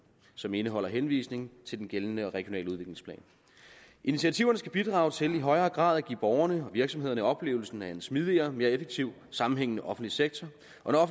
som indeholder henvisning til den gældende regionale udviklingsplan initiativerne skal bidrage til i højere grad at give borgerne og virksomhederne oplevelsen af en smidigere og mere effektiv sammenhængende offentlig sektor